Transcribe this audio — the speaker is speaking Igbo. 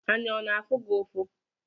Anya ọ na-afụ gị ụfụ?